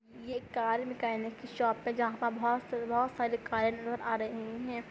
ये एक car mechanic कि शॉप जहाँ पे बहुत-बहुत सारे कारे नजर आ रहे है।